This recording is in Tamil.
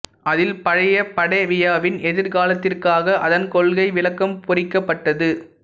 அதில் பழைய படேவியாவின் எதிர்காலத்திற்காக அதன் கொள்கை விளக்கம் பொறிக்கப்பட்டது